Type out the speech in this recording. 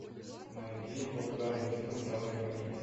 найди популярный фильм в жанре комедия